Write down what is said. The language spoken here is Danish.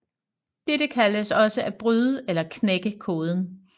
Dette kaldes også at bryde eller knække koden